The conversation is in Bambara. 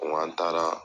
Wa an taara